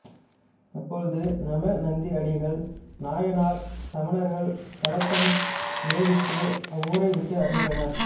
அப்பொழுது நமிநந்தியடிகள் நாயனார் சமணர்கள் கலக்கம் விளைவித்து அவ்வூரைவிட்டு அகன்றார்